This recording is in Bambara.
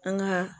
An ka